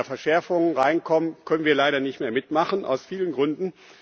Wenn da Verschärfungen hineineinkommen, können wir leider nicht mehr mitmachen, aus vielen Gründen.